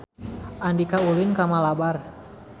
Andika ulin ka Malabar